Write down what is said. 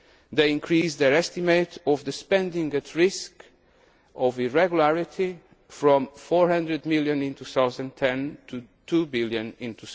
They increased their estimate of the spending at risk of irregularity from EUR 400 million in 2010 to EUR 2 billion